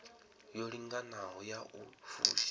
yo linganaho ya u fusha